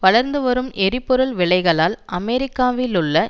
வளர்ந்து வரும் எரிபொருள் விலைகளால் அமெரிக்காவிலுள்ள